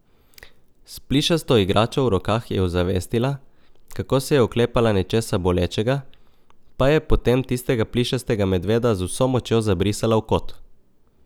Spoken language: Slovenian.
S plišasto igračo v rokah je ozavestila, kako se je oklepala nečesa bolečega, pa je potem tistega plišastega medveda z vso močjo zabrisala v kot.